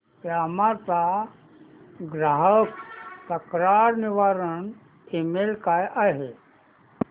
Yamaha चा ग्राहक तक्रार निवारण ईमेल काय आहे